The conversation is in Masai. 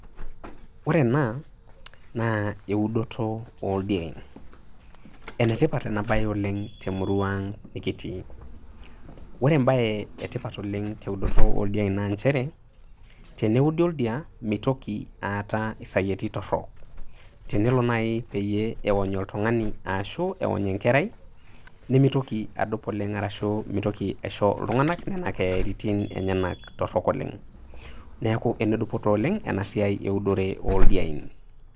Ore ena naa eudoto oldiein, enetipat enabae temurua ang nikitii . Ore embae etipat oleng teudoto oldiein naa nchere , teneudi oldia mitoki aata isayieti torok , tenelo nai peyie eony oltungani ashu eony enkerai, nemitoki adup oleng ashu nemitoki aisho iltunganak nena keyaitin enyenak torok oleng. Neku enedupoto oleng enasiai eudore oldiein.